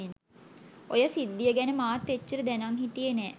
ඔය සිද්ධිය ගැන මාත් එච්චර දැනං හිටියේ නෑ.